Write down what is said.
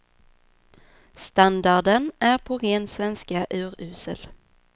Standarden är på ren svenska urusel.